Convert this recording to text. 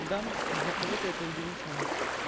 да для кого-то это удивительно